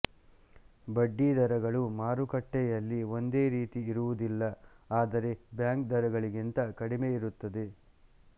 ಬಡ್ಡಿದರಗಳು ಮಾರುಕಟ್ಟೆಯಲ್ಲಿ ಒಂದೇ ರೀತಿ ಇರುವುದಿಲ್ಲ ಆದರೆ ಬ್ಯಾಂಕ್ ದರಗಳಿಗಿಂತ ಕಡಿಮೆಯಿರುತ್ತದೆ